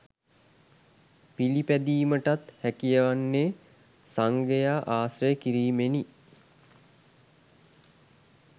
පිළිපැදීමටත් හැකිවන්නේ සංඝයා ආශ්‍රය කිරීමෙනි.